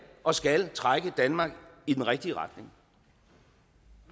og skal trække danmark i den rigtige retning